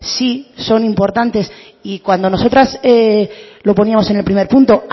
sí son importantes y cuando nosotras lo poníamos en el primer punto